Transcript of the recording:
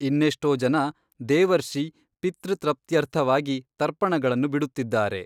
ಇನ್ನೆಷ್ಟೋ ಜನ ದೇವರ್ಷಿ ಪಿತೃ ತೃಪ್ತ್ಯರ್ಥವಾಗಿ ತರ್ಪಣಗಳನ್ನು ಬಿಡುತ್ತಿದ್ದಾರೆ.